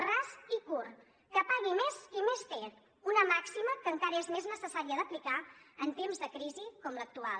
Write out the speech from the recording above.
ras i curt que pagui més qui més té una màxima que encara és més necessària d’aplicar en temps de crisi com l’actual